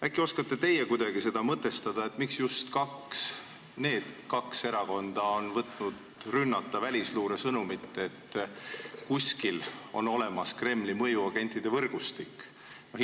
Äkki oskate teie kuidagi seda mõtestada, miks just need kaks erakonda on võtnud rünnata välisluure sõnumit, et kuskil on olemas Kremli mõjuagentide võrgustik?